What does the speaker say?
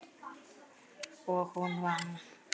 Og hún vann.